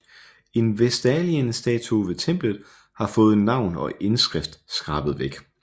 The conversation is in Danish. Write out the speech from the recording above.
En vestalindestatue ved templet har fået navn og indskrift skrabet væk